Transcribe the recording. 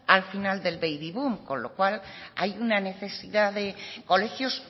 al final del baby boom con lo cual hay una necesidad de colegios